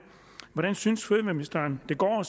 hvordan synes fødevareministeren det går